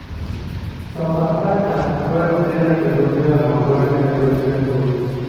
Sofa faka goyo opira kendo opira no lwar e lwet ja gol.